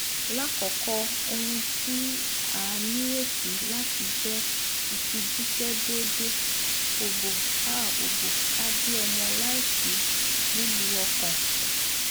lakoko ohun ti a nireti lati jẹ ifijiṣẹ deede obo a obo a bi ọmọ laisi lilu ọkan